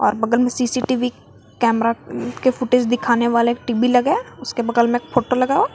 बगल में CCTV camera के फोटोज दिखाने वाला एक टी_बी लगा है उसके बगल में एक फोटो लगा है।